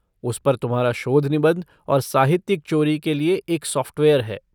उस पर तुम्हारा शोध निबंध और साहित्यिक चोरी के लिए एक सॉफ़्टवेयर है।